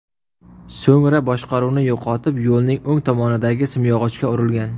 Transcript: So‘ngra boshqaruvni yo‘qotib, yo‘lning o‘ng tomonidagi simyog‘ochga urilgan.